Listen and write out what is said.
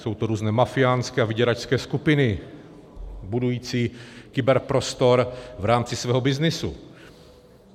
Jsou to různé mafiánské a vyděračské skupiny budující kyberprostor v rámci svého byznysu.